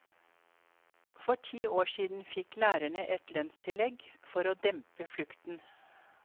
For ti år siden fikk lærerne et lønnstillegg for å dempe flukten.